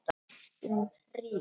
Um hríð.